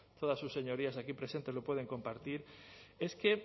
todas sus señorías aquí presentes lo pueden compartir es que